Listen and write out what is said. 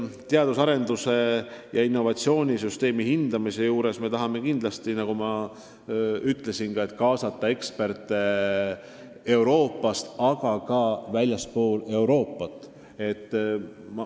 Teadus- ja arendustöö ning innovatsioonisüsteemi hindamisse me tahame kindlasti, nagu ma juba ütlesin, kaasata eksperte Euroopast, aga ka väljastpoolt Euroopat.